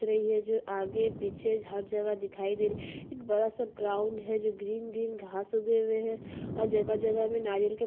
दिख रही है जो आगे पीछे हर जगह दिखाई दे रही है एक बड़ा सा ग्राउंड है जो ग्रीन ग्रीन घास उगे हुए है और जगह-जगह में नारियल के--